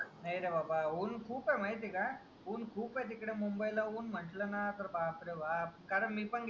नाय रे बाबा ऊन खूप ए माहिती ए का ऊन खूप आहे तिकडे मुंबईला ऊन म्हंटल ना तर बापरे बाप कारण मी पण गेल